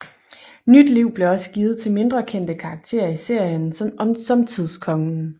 Nyt liv blev også givet til mindre kendte karakterer i serien som Tidskongen